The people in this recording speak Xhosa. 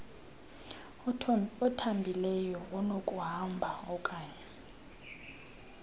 othambileyo onokuhamba oaknye